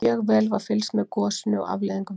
Mjög vel var fylgst með gosinu og afleiðingum þess.